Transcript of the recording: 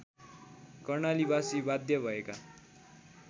कर्णालीबासी बाध्य भएका